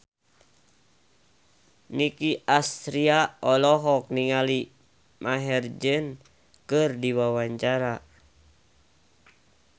Nicky Astria olohok ningali Maher Zein keur diwawancara